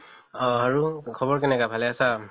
অহ আৰু খবৰ কেনেকা, ভালে আছে?